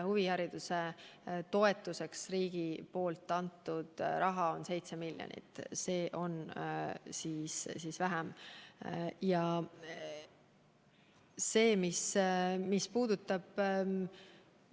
Huvihariduse toetuseks riigi antud raha on 7 miljonit eurot, see on ju väiksem kogus.